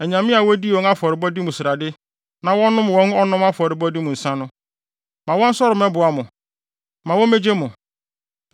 anyame a wodii wɔn afɔrebɔde mu srade na wɔnom wɔn ɔnom afɔrebɔ mu nsa no? Ma wɔnsɔre mmɛboa mo! Ma womegye mo!